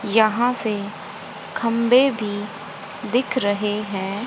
यहां से खंबे भी दिख रहे हैं।